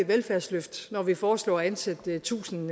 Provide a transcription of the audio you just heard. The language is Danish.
velfærdsløft når vi foreslår at ansætte tusind